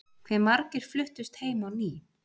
Hve margir fluttust heim á ný?